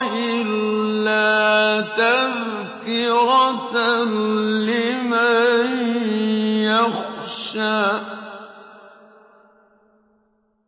إِلَّا تَذْكِرَةً لِّمَن يَخْشَىٰ